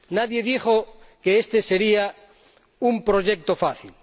Nadie dijo que este sería un proyecto fácil.